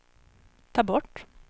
ta bort